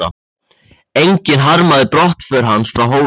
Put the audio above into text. Enginn harmaði brottför hans frá Hólum.